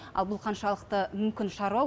ал бұл қаншалықты мүмкін шаруа